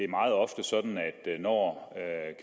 meget ofte sådan at når